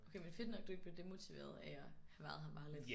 Okay men fedt nok du ikke blev demotiveret af at have været her meget lidt